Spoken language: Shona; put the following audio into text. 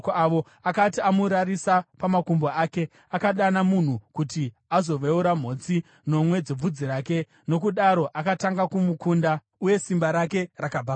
Akati amurarisa pamakumbo ake, akadana munhu kuti azoveura mhotsi nomwe dzebvudzi rake, nokudaro akatanga kumukunda. Uye simba rake rakabva paari.